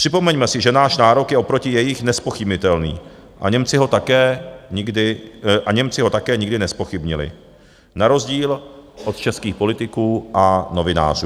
Připomeňme si, že náš nárok je oproti jejich nezpochybnitelný a Němci ho také nikdy nezpochybnili na rozdíl od českých politiků a novinářů.